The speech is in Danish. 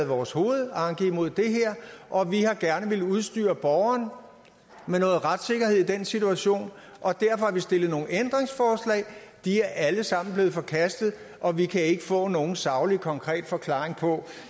vores hovedanke mod det her og vi har gerne villet udstyre borgeren med noget retssikkerhed i den situation og derfor har vi stillet nogle ændringsforslag de er alle sammen blevet forkastet og vi kan ikke få nogen saglig konkret forklaring på